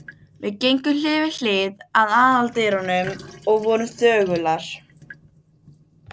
Einn í heiminum rétt hjá Hljómskálanum.